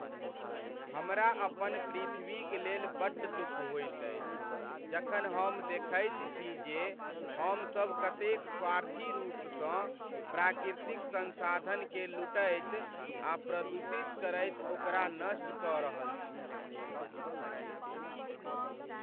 हमरा अपन पृथ्वीक लेल बड्ड दुख होइत अछि जखन हम देखैत छी जे हमसभ कतेक स्वार्थी रूपसँ प्राकृतिक संसाधनकेँ लूटैत आ प्रदूषित करैत ओकरा नष्ट कऽ रहल छी।